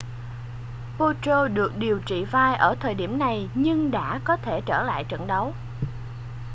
potro được điều trị vai ở thời điểm này nhưng đã có thể trở lại trận đấu